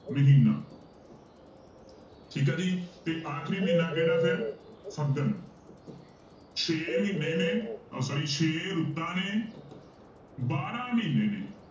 ਮਹੀਨਾ ਠੀਕ ਆ ਜੀ ਤੇ ਆਖਰੀ ਮਹੀਨਾ ਕਿਹੜਾ ਫਿਰ ਫੱਗਣ ਛੇ ਮਹੀਨੇ ਨੇ ਉਹ sorry ਛੇ ਰੁੱਤਾਂ ਨੇ ਬਾਰਾਂ ਮਹੀਨੇ ਨੇ